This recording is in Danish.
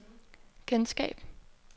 kendskab